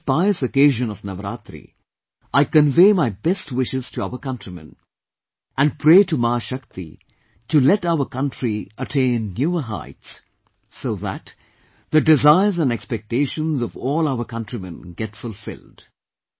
On this pious occasion of Navratri, I convey my best wishes to our countrymen and pray to Ma Shakti to let our country attain newer heights so that the desires and expectations of all our countrymen get fulfilled